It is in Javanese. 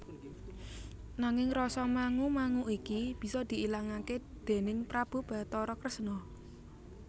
Nanging rasa mangu mangu iki bisa diilangaké déning Prabu Bathara Kresna